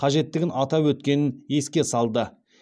қажеттігін атап өткенін еске салды